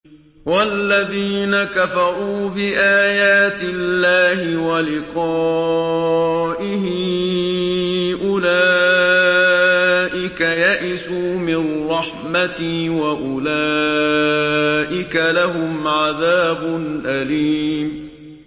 وَالَّذِينَ كَفَرُوا بِآيَاتِ اللَّهِ وَلِقَائِهِ أُولَٰئِكَ يَئِسُوا مِن رَّحْمَتِي وَأُولَٰئِكَ لَهُمْ عَذَابٌ أَلِيمٌ